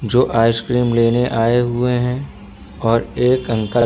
जो आइसक्रीम लेने आए हुए है और एक अंकल --